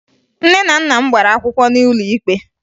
Nne na nna m gbara akwụkwọ n'ụlọ ikpe